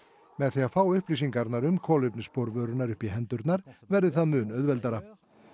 með því að fá upplýsingarnar um kolefnisspor vörunnar upp í hendurnar verði það mun auðveldara